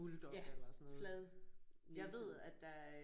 Ja fladnæset